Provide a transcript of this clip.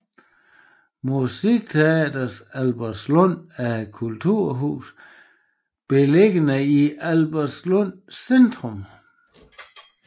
Musikteatret Albertslund er et kulturhus beliggende i Albertslund Centrum